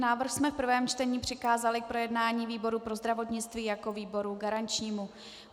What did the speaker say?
Návrh jsme v prvém čtení přikázali k projednání výboru pro zdravotnictví jako výboru garančnímu.